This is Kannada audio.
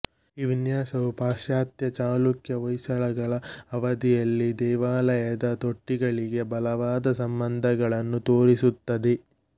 ಈ ವಿನ್ಯಾಸವು ಪಾಶ್ಚಾತ್ಯ ಚಾಲುಕ್ಯಹೊಯ್ಸಳ ಅವಧಿಯ ದೇವಾಲಯದ ತೊಟ್ಟಿಗಳಿಗೆ ಬಲವಾದ ಸಂಬಂಧಗಳನ್ನು ತೋರಿಸುತ್ತದೆ